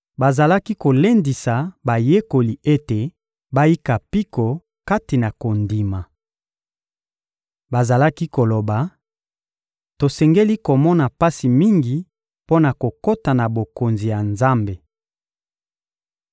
bazalaki kolendisa bayekoli ete bayika mpiko kati na kondima. Bazalaki koloba: — Tosengeli komona pasi mingi mpo na kokota na Bokonzi ya Nzambe.